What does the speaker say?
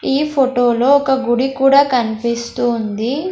ఈ ఫొటో లో ఒక గుడి కూడా కన్పిస్తూ ఉంది.